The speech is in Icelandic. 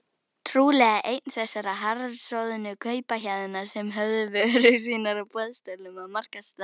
Trúlega einn þessara harðsoðnu kaupahéðna sem höfðu vörur sínar á boðstólum á markaðstorgunum.